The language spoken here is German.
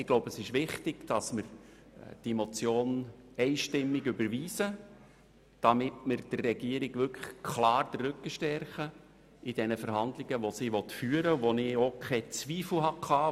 Ich glaube, dass es wichtig ist, diese Motion einstimmig zu überweisen, damit wir der Regierung in den Verhandlungen, die sie führen will, klar den Rücken stärken.